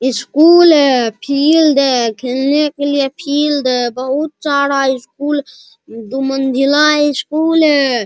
एक स्कूल है फील्ड है खेलने के लिए फील्ड है बहुत सारा स्कूल है दो मंजिली स्कूल है।